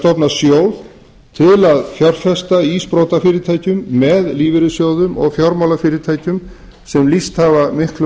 stofna sjóð til að fjárfesta í sprotafyrirtækjum með lífeyrissjóðum og fjármálafyrirtækjum sem lýst hafa miklum